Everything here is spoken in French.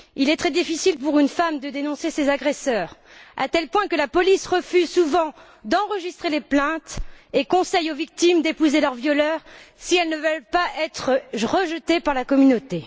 il est très difficile pour une femme de dénoncer ses agresseurs, à tel point que la police refuse souvent d'enregistrer les plaintes et conseille aux victimes d'épouser leurs violeurs, si elles ne veulent pas être rejetées par la communauté.